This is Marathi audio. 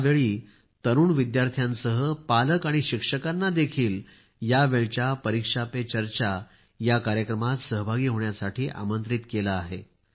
यावेळी तरुण विद्यार्थ्यांसह पालक आणि शिक्षकांना देखील यावेळच्या परीक्षा पे चर्चा या कार्यक्रमात सहभागी होण्यासाठी आमंत्रित केले आहे